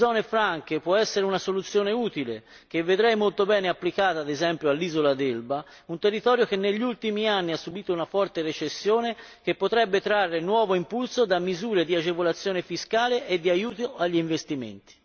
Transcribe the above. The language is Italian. L'istituzione di zone franche può essere una soluzione utile che vedrei molto bene applicata ad esempio all'isola d'Elba, un territorio che negli ultimi anni ha subito una forte recessione e che potrebbe trarre nuovo impulso da misure di agevolazione fiscale e di aiuto agli investimenti.